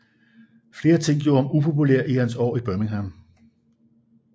Flere ting gjorde ham upopulær i hans år i Birmingham